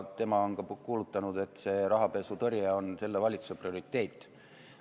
Tema on ka kuulutanud, et rahapesutõrje on selle valitsuse prioriteet.